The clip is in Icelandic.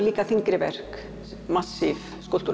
líka þyngri verk massíf